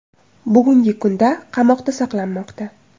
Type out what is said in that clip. bugungi kunda qamoqda saqlanmoqda.